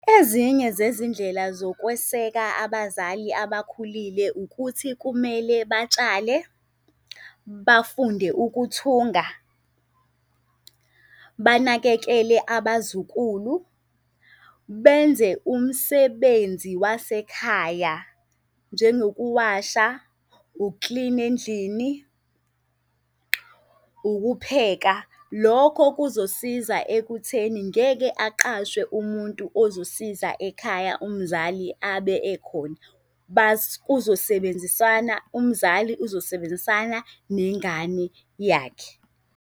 Ezinye zezindlela zokweseka abazali abakhulile ukuthi kumele batshale, bafunde ukuthunga, banakekele abazukulu, benze umsebenzi wasekhaya, njengokuwasha, uklina endlini, ukupheka. Lokho kuzosiza ekutheni ngeke aqashwe umuntu ozosiza ekhaya umzali abe ekhona. Kuzosebenzisana umzali uzosebenzisana nengane yakhe.